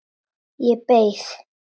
Ég beið.